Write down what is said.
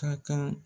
Ka kan